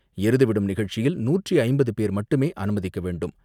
எருதுவிடும் நிகழ்ச்சியில் நூற்று ஐம்பது பேர் மட்டுமே அனுமதிக்க வேண்டும்.